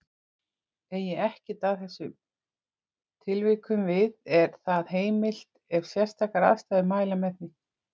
Eigi ekkert að þessum tilvikum við er það heimilt ef sérstakar ástæður mæla með því.